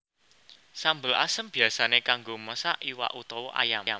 Sambel asem biyasané kanggo masak iwak utawa ayam